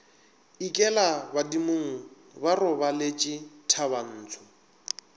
ikela badimong ba robaletše thabantsho